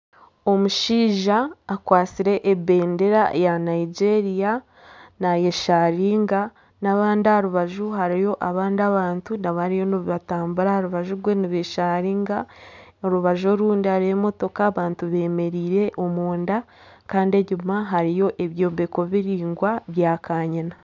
Omushaija akwatsire ebendera ya Nigeria nayesharinga n'abandi aha rubaju hariyo n'abandi abantu bariyo nibatambura aha rubaju rwe nibesharinga , aha rubaju orundi hariyo emotoka abantu bemereire omunda Kandi enyima hariyo ebyombeko biringwa bya kanyina.